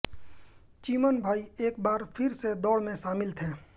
चिमन भाई एक बार फिर से दौड़ में शामिल थे